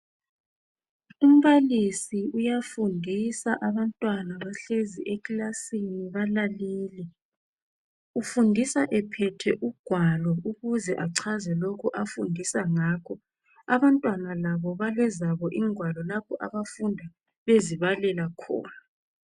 Umbalisi uyafundisa abantwana bahlezi ekilasini balalele ufundisa ephethe ugwalo ukuze achaze lokhu afundisa ngakho abantwana labo balezabo ingwalo lapho abafunda bezibalela khona.